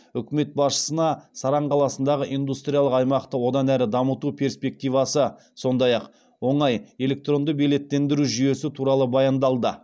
үкімет басшысына саран қаласындағы индустриялық аймақты одан әрі дамыту перспективасы сондай ақ оңай электронды билеттендіру жүйесі туралы баяндалды